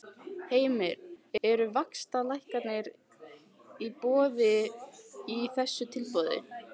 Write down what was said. Heimir: Eru vaxtalækkanir í boði í þessu tilboði?